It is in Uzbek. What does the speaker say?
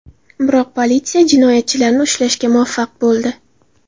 Biroq politsiya jinoyatchilarni ushlashga muvaffaq bo‘ldi.